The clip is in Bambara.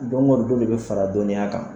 Dɔn dɔli dɔ de fara a dɔnniya kan